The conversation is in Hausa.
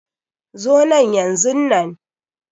Zo nan yanzunan.